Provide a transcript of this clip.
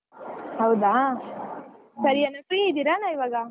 ಹೌದಾ ಸರಿ ಅಣ್ಣ free ಅದಿರೇಣ್ಣ ಇವಗಾ?